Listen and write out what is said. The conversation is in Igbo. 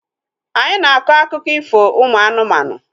Anyị na-akọ akụkọ ifo ụmụ anụmanụ